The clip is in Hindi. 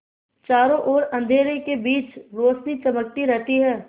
चारों ओर अंधेरे के बीच रौशनी चमकती रहती है